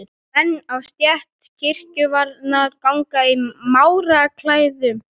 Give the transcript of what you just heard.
Menn af stétt kirkjuvarðar ganga í máraklæðum.